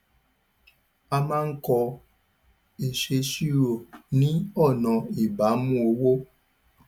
a máa ń kọ ìṣèṣirò ni ọnà ìbámu owó